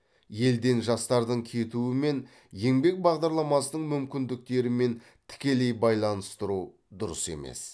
елден жастардың кетуі мен еңбек бағдарламасының мүмкіндіктерімен тікелей байланыстыру дұрыс емес